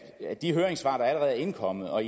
af de høringssvar der allerede er indkommet og